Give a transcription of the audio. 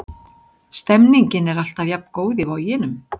Stemningin er alltaf jafn góð í Voginum.